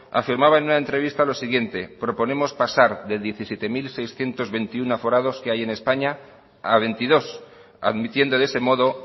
afirmaba en una entrevista lo siguiente proponemos pasar de diecisiete mil seiscientos veintiuno que hay en españa a veintidós admitiendo de ese modo